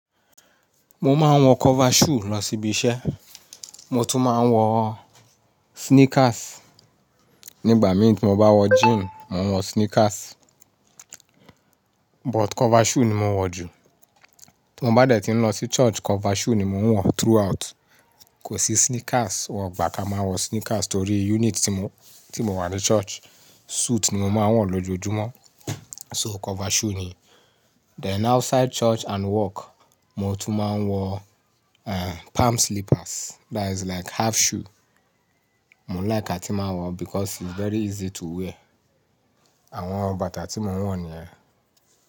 Mo máa ń wọ cover shoe lọ síbi iṣẹ́. Mo tún máa ń wọ sneakers nígbà mí tí mo bá wọ jean, mo ń wọ sneakers. But cover shoe ni mo ń wọ jù. Tí mo bá dẹ̀ tí ń lọ sí church, cover shoe ni mo ń wọ throughout. Kò sí sneakers, wọ̀gbà ká máa wọ sneakers torí unit tí mo, tí mo wà ní church, suit ni mo máa ń wọ lójoojúmọ́. So cover shoe ni. Then outside church and work, mo tún máa ń wọ, eh, palm slippers. That is like half shoe. Mo ń like àti máa wọ because it's very easy to wear. Àwọn bàtà tí mo ń wọ̀ ni yẹ́n.